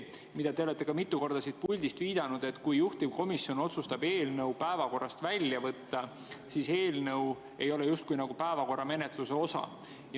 Te olete mitu korda siit puldist viidanud, et kui juhtivkomisjon otsustab eelnõu päevakorrast välja võtta, siis eelnõu ei ole justkui päevakorra menetluse osa.